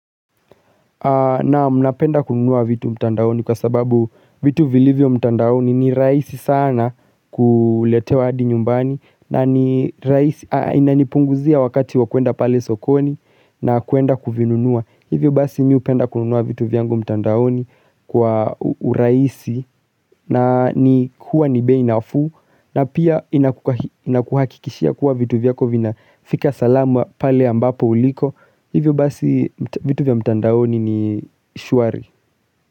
Naam mnapenda kununua vitu mtandaoni kwa sababu vitu vilivyo mtandaoni ni rahisi sana kuletewa hadi nyumbani na ni rahisi inanipunguzia wakati wakuenda pale sokoni nakwenda kuvinunua Hivyo basi mimi hupenda kununua vitu vyangu mtandaoni kwa urahisi na ni kuwa ni bei nafuu na pia inakuhakikishia kuwa vitu vyako vinafika salamu pale ambapo uliko Hivyo basi vitu vya mtandaoni ni shwari.